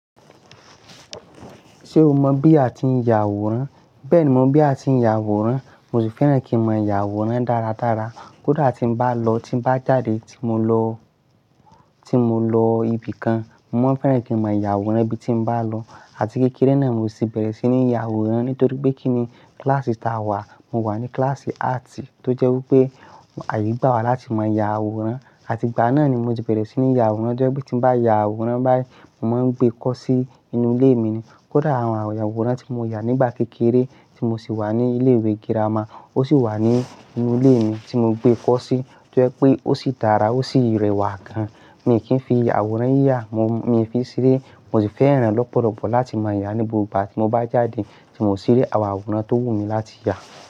Ṣé o mọ̀ bí a ti ń ya àwòrán? Bẹ́ẹ̀ni, mo mọ̀ bí a ti ń ya àwòrán. Mo sì fẹ́ràn kí n mọ yà àwòrán dáradára. Kódà tí n bá lọ, tí bá jáde, tí mo lọ, tí mo lọ ibìkan, mo máa ń fẹ́ràn kí n mọ yà àwòrán ibi tí mo bá lọ. Àti kékeré náà mo sì bẹ̀rẹ̀ sí ní ya àwòrán nítorí pé kíni kíláàsì tí a wà, mo wà ní kíláàsì áàtì tó jẹ́ wí pé àyè gba wa láti máa ya àwòrán. Àti ìgbà náà ni mo ti bẹ̀rẹ̀ sí ní ya àwòrán. Ó jẹ́ wí pé tí n bá ya àwòrán báyìí, mo máa ń gbé kọ sí inú ilé mi ni. Kódà àwọn àwòrán tí mo yà nígbà kékeré tí mo sì wà ní ilé ìwé girama, ó ṣì wà ní inú ilé mi tí mo gbé kọ sí. Ó jẹ́ wí pé ó sì dára, ó sì rẹwà gan. Mi kì í fi ya àwòrán yíyà, mo, mi ń fi sere. Mo sì fẹ́ràn re lọ́pọ̀lọpọ̀ láti máa ya ní gbogbo igba tí mo bá jáde tí mo sì rí àwọn àwòrán tó wù mí láti ya.